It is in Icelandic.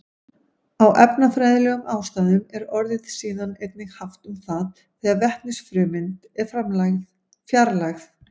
Af efnafræðilegum ástæðum er orðið síðan einnig haft um það þegar vetnisfrumeind er fjarlægð.